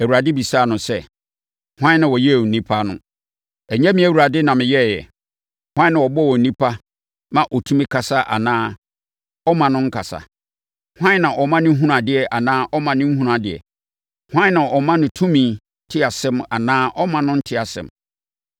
Awurade bisaa no sɛ, “Hwan na ɔyɛɛ onipa ano? Ɛnyɛ me Awurade na meyɛeɛ? Hwan na ɔbɔ onipa ma ɔtumi kasa anaa ɔmma no nkasa? Hwan na ɔma no hunu adeɛ anaa ɔmma no nhunu adeɛ? Hwan na ɔma no tumi te asɛm anaa ɔmma no nte asɛm?